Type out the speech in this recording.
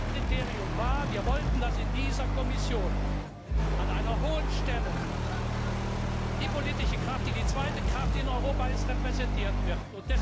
Ein Kriterium war, dass wir wollten, dass in dieser Kommission an einer hohen Stelle die politische Kraft, die die zweite Kraft in Europa ist, repräsentiert wird.